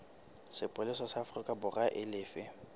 sepolesa sa aforikaborwa e lefe